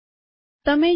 તમે જોઈ શકો